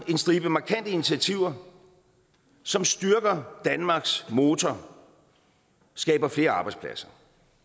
en stribe markante initiativer som styrker danmarks motor og skaber flere arbejdspladser